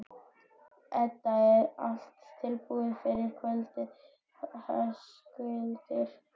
Edda: Allt tilbúið fyrir kvöldið, Höskuldur?